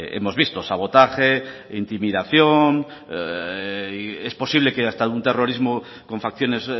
hemos visto sabotaje intimidación es posible que hasta un terrorismo con facciones